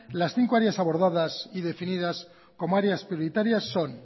las cinco áreas abordadas y definidas como áreas prioritarias son